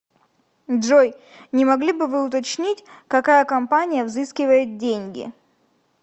джой не могли бы вы уточнить какая компания взыскивает деньги